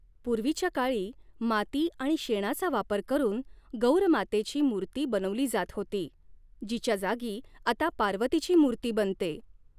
पूर्वीच्या काळी माती आणि शेणाचा वापर करून गौर मातेची मूर्ती बनवली जात होती, जिच्या जागी आता पार्वतीची मूर्ती बनते.